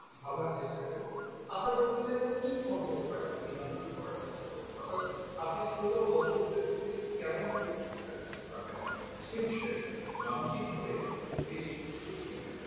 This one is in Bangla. ভাবার চেষ্টা করুন আপনার বক্তৃতা কি fault হতে পারে এবার দূর করার চেষ্টা করুন অর্থাৎ আপনি শোতা ও দর্শকদের মধ্যে কেমন প্রভাব বিস্তার করতে পারবেন সে বিষয়ক মানসিকভাবে বেশ প্রস্তুতি নিয়ে রাখতে হবে।